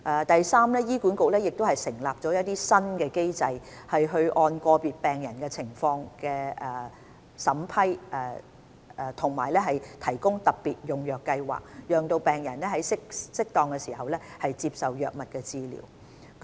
第三，醫管局亦設立新機制，按個別病人的情況審批及提供特別用藥計劃，讓病人在適當時接受藥物治療。